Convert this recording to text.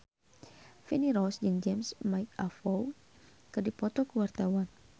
Feni Rose jeung James McAvoy keur dipoto ku wartawan